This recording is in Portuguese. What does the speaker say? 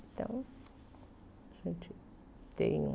Então, a gente tem um...